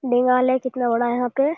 दीवार है कितना बड़ा है यहाँ पे --